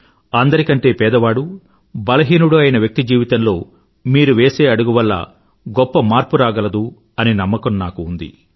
అందరి కంటే పేదవాడు బలహీనుడు అయిన వ్యక్తి జీవితంలో మీరు వేసే అడుగు వల్ల గొప్ప మార్పు రాగలదు అని నాకు నమ్మకం ఉంది